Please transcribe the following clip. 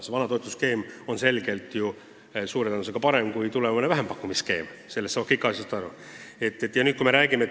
See vana toetusskeem on ju suure tõenäosusega parem kui tulevane vähempakkumisskeem – sellest saavad kõik aru.